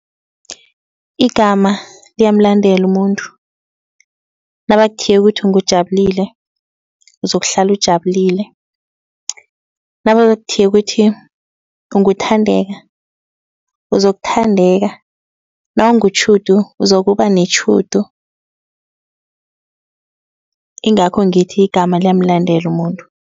Igama liyamlandela umuntu nabakuthiye ukuthi nguJabulile uzokuhlala ujabulile. Nabakuthiye ukuthi nguThandeka uzokuthandeka. NawunguTjhudu uzokubanetjhudu. Ingakho ngithi igama liyamlandela umuntu.